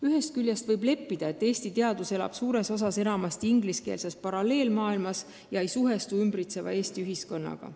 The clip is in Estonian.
Ühest küljest võib leppida, et Eesti teadus elab suures osas enamasti ingliskeelses paralleelmaailmas ega suhestu ümbritseva eesti ühiskonnaga.